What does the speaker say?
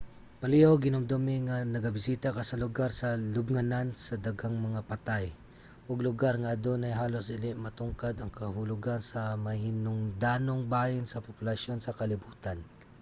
palihug hinumdumi nga nagabisita ka sa lugar sa lubnganan sa daghang mga patay ug lugar nga adunay halos dili matugkad ang kahulogan sa mahinungdanong bahin sa populasyon sa kalibutan